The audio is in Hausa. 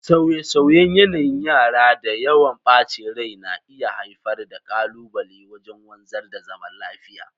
Sauye-sauyen yanayin yara da yawan bacin rai na iya haifar da kalubale wajen wanzar da zaman lafiya.